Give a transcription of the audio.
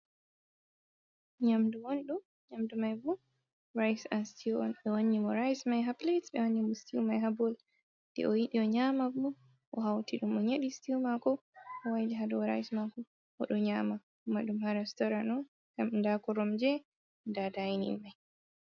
Ynamdu mai bu rise an stew n be wannyimo rise mai haplates be wannimo stiw mai habol de o yidi o nyama bo o hauti dum o nyedi stiwu mako o wayli hado o ryse mako o do nyama madum hara storano am dakorom je da daini mai.